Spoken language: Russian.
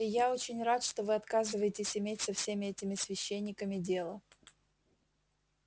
и я очень рад что вы отказываетесь иметь со всеми этими священниками дело